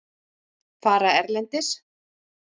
Fara erlendis?